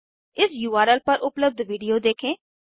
इस उर्ल पर उपलब्ध वीडियो देखें